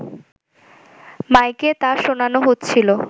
মাইকে তা শোনানো হচ্ছিল